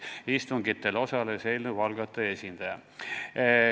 Istungitel osales ka eelnõu algataja esindaja.